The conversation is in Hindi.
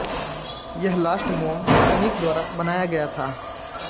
यह लॉस्ट मोम तकनीक द्वारा बनाया गया था